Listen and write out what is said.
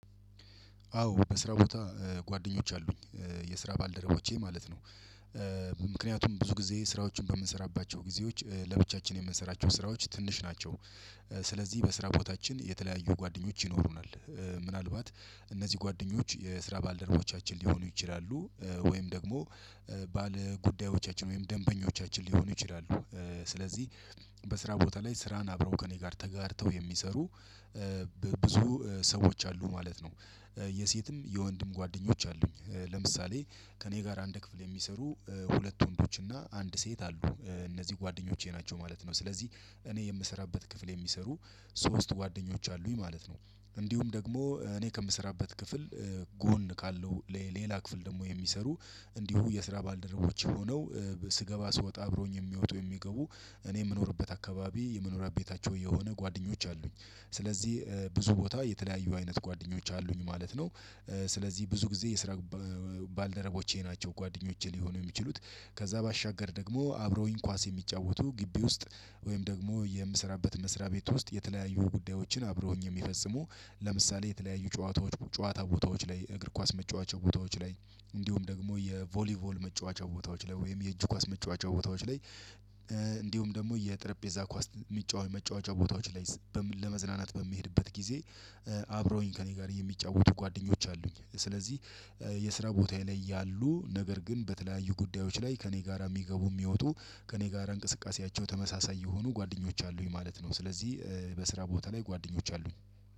አዎ በስራ ቦታ ጓደኞች አሉኝ የስራ ባልደረቦቼ ማለት ነው። ምክንያቱም ብዙ ጊዜ ስራዎችን በምንሰራባቸው ጊዜዎች ለብቻችን የምንሰራቸው ስራዎች ትንሽ ናቸው። ስለዚህ በስራ ቦታችን የተለያዩ ጓደኞች ይኖሩናል። ምናልባት እነዚህ ጓደኞች የስራ ባልደረቦቻችን ሊሆኑ ይችላሉ። ወይም ደግሞ ባለጉዳዮቻችን ወይም ደንበኞቻችን ሊሆኑ ይችላሉ። ስለዚህ በስራ ቦታ ላይ ስራን አብረው ከእኔ ጋር ተጋርተው የሚሰሩ ብዙ ሰዎች አሉ ማለት ነው። የሴትም የወንድም ጓደኞች አሉኝ። ለምሳሌ ከእኔ ጋር አንድ ክፍል የሚሰሩ ሁለት ወንዶች እና አንድ ሴት አሉ እነዚህ ጓደኞቼ ናቸው ማለት ነው። ስለዚህ እኔ የምሰራበት ክፍል የሚሰሩ ሶስት ጓደኞች አሉኝ ማለት ነው። እንዲሁም ደግሞ እኔ ከምሰራበት ክፍል ጎን ካለው ሌላ ክፍል ደግሞ የሚሰሩ እንዲሁ የስራ ባልደረቦች ሆነው ስገባ ስወጣ አብሮኝ የሚወጡ የሚገቡ እኔ የምኖርበት አካባቢ የመኖሪያ ቤታቸው የሆኑ ጓደኞች አሉኝ። ስለዚህ ብዙ ቦታ የተለያዩ አይነት ጓደኞች አሉኝ ማለት ነው። ስለዚህ ብዙ ጊዜ የስራ ባልደረቦቼ ናቸው ጓደኞቼ ሊሆኑ የሚችሉት። ከዛ ባሻገር ደግሞ አብረውኝ ኳስ የሚጫወቱ ግቢ ውስጥ ወይም ደግሞ የምሰራበት መስሪያ ቤት ውስጥ የተለያዩ ጉዳዮችን አብረውኝ የሚፈጽሙ ለምሳሌ የተለያዩ ጨዋታዎች ጨዋታ ቦታዎች ላይ እግር ኳስ መጫወቻ ቦታዎች ላይ እንዲሁም ደግሞ የቮሊቮል መጫወቻ ቦታዎች ላይ ወይም የእጁ ኳስ መጫወቻ ቦታዎች ላይ እንዲሁም ደግሞ የጠረጴዛ ኳስ የሚጫወቱ መጫወቻ ቦታዎች ላይ ለመዝናናት በምሄድበት ጊዜ አብረውኝ ከእኔ ጋር የሚጫወቱ ጓደኞች አሉኝ። ስለዚህ የስራ ቦታ ላይ ያሉ ነገር ግን በተለያዩ ጉዳዮች ላይ ከእኔ ጋራ የሚገቡ የሚወጡ ከእኔ ጋር እንቅስቃሴያቸው ተመሳሳይ የሆኑ ጓደኞች አሉኝ ማለት ነው። ስለዚህ በስራ ቦታ ላይ ጓደኞች አሉኝ።